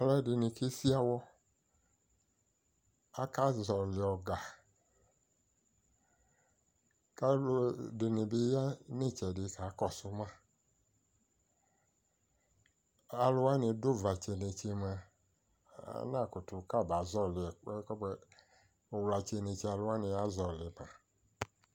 Aluɛde ne kesi awɔ Aka zɔle ɔga ko aluɛdene ya no etsɛde ka kɔso ma Aluwane do uvatse netse moa anakato abaa zɔle ɛkuɛ kɔbuɛ Uwlatsɛ netse aluwane azɔle ba